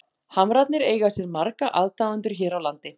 Hamrarnir eiga sér marga aðdáendur hér á landi.